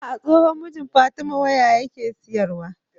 Ah ah tsohon mijin fatima waya yake siyar wa